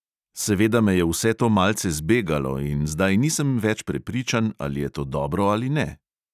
Seveda me je vse to malce zbegalo in zdaj nisem več prepričan, ali je to dobro ali ne.